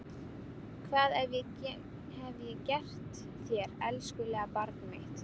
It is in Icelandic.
Hvað hef ég gert þér elskulega barnið mitt?